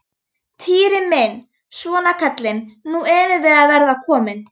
Týri minn, svona kallinn, nú erum við að verða komin.